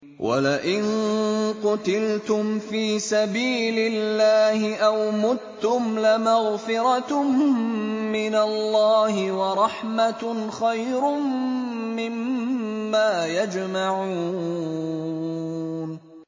وَلَئِن قُتِلْتُمْ فِي سَبِيلِ اللَّهِ أَوْ مُتُّمْ لَمَغْفِرَةٌ مِّنَ اللَّهِ وَرَحْمَةٌ خَيْرٌ مِّمَّا يَجْمَعُونَ